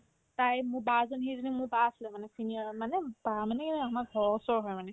তাই মোৰ বা জনী সেইজনী মোৰ বা আছিলে মানে senior মানে বা মানে কেনে জানা আমাৰ ঘৰৰ ওচৰৰ হয় মানে